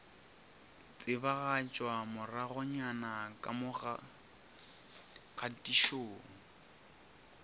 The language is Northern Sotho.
tsebagatšwa moragonyana ka mo kgatišong